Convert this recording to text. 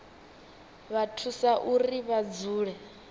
vha thusa uri vha dzule